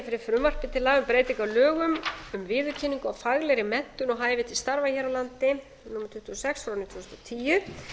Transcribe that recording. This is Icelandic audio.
fyrir frumvarpi til laga um breytingu á lögum um viðurkenningu á faglegri menntun og hæfi til starfa hér á landi númer tuttugu og sex tvö þúsund og